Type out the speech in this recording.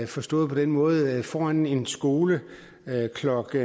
forstået på den måde at foran en skole klokken